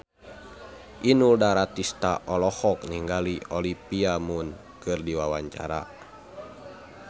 Inul Daratista olohok ningali Olivia Munn keur diwawancara